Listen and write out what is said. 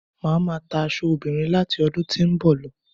Màá máa ta aṣọ obìnrin láti ọdún tí ó ń bọ̀ lọ